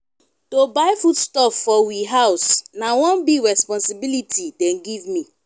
to buy foodstuff for we house na one big responsibility dem give me.